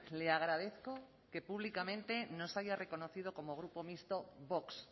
le agradezco que públicamente nos haya reconocido como grupo mixto vox